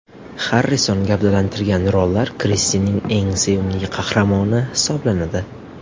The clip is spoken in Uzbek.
Xarrison gavdalantirgan rollar Kristenning eng sevimli qahramoni hisoblanadi.